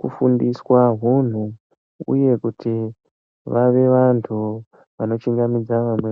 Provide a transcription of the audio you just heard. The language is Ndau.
kufundiswa hunhu, uye kuti vave vanthu vanochingamidza vamweni.